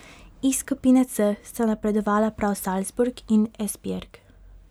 Iz skupine C sta napredovala prav Salzburg in Esbjerg.